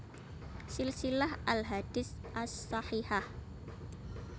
Silsilah al Ahadits ash Shahihah